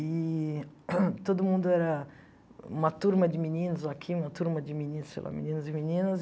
Eee todo mundo era uma turma de meninos aqui, uma turma de meninos, sei lá, meninos e meninas.